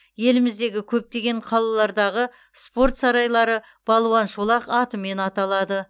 еліміздегі көптеген қалалардағы спорт сарайлары балуан шолақ атымен аталады